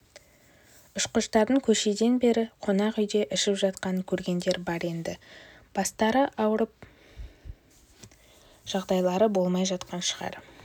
ұшқыштардың кешеден бері қонақ үйде ішіп жатқанын көргендер бар енді бастары ауырып жағдайлары болмай жатқан шығар